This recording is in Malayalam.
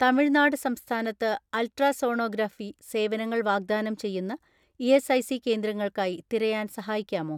"തമിഴ്നാട് സംസ്ഥാനത്ത് അൾട്രാസോണോഗ്രാഫി സേവനങ്ങൾ വാഗ്ദാനം ചെയ്യുന്ന ഇ.എസ്.ഐ.സി കേന്ദ്രങ്ങൾക്കായി തിരയാൻ സഹായിക്കാമോ?"